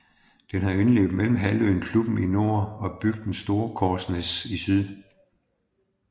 Den har indløb mellem halvøen Klubben i nord og bygden Storekorsnes i syd